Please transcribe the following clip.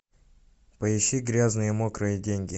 поищи грязные мокрые деньги